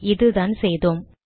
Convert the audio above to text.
இதுதான் செய்தோம்